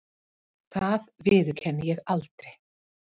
Það viðurkenni ég aldrei.